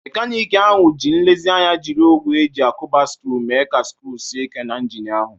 Mekaniki ahụ ji nlezianya jiri ogwe eji akuba sckru mee ka sckru sie Ike na injin ahụ.